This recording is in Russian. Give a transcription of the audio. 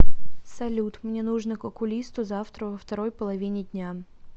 салют мне нужно к окулисту завтра во второй половине дня